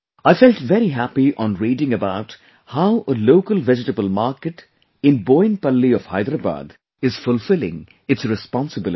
I felt very happy on reading about how a local vegetable market in Boinpalli of Hyderabad is fulfilling its responsibility